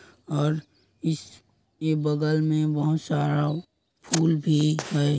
और इस के बगल में बहोत सारा फूल भी है।